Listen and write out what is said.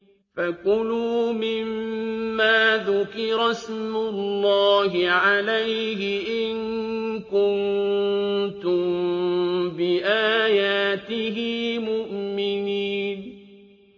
فَكُلُوا مِمَّا ذُكِرَ اسْمُ اللَّهِ عَلَيْهِ إِن كُنتُم بِآيَاتِهِ مُؤْمِنِينَ